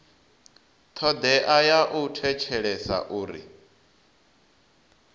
thodea ya u thetshelesa uri